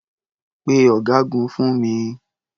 Pe ọ̀gágun fún mi.